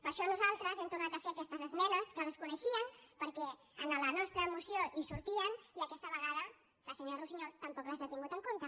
per això nosaltres hem tornat a fer aquestes esmenes que les coneixien perquè a la nostra moció hi sortien i aquesta vegada la senyora russiñol tampoc les ha tingudes en compte